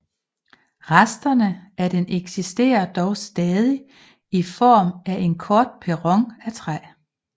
Resterne af den eksisterer dog stadig i form af en kort perron af træ